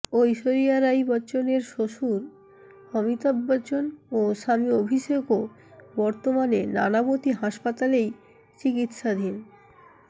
ঐশ্বরিয়া রাই বচ্চনের শ্বশুর অমিতাভ বচ্চন ও স্বামী অভিষেকও বর্তমানে নানাবতী হাসপাতালেই চিকিৎসাধীন